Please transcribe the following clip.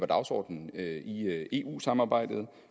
dagsordenen i eu samarbejdet